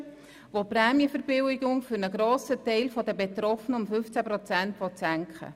Gemäss diesem Entscheid soll die Prämienverbilligung für einen grossen Teil der Betroffenen um 15 Prozent gesenkt werden.